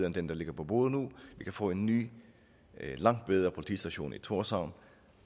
end den der ligger på bordet nu vi kan få en ny og langt bedre politistation i tórshavn